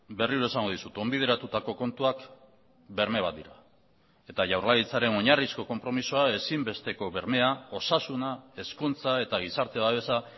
berriro esango dizut onbideratutako kontuak berme bat dira eta jaurlaritzaren oinarrizko konpromisoa ezinbesteko bermea osasuna hezkuntza eta gizarte babesa